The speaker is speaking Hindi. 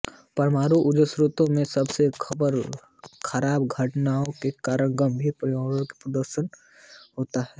परमाणु ऊर्जा संयंत्रों में सबसे खराब दुर्घटनाओं के कारण गंभीर पर्यावरण प्रदूषण होता है